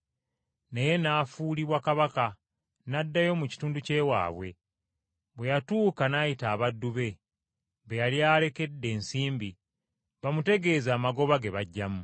“Naye n’afuulibwa kabaka, n’addayo mu kitundu ky’ewaabwe. Bwe yatuuka n’ayita abaddu be, be yali alekedde ensimbi, bamutegeeze amagoba ge baggyamu.